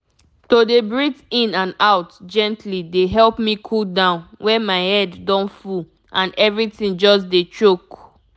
to dey breathe in and out gently dey help me cool down when my head don full and everything just dey choke.